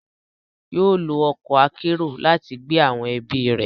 Yóò lo ọkọ akero lati gbé awọn ẹbi rẹ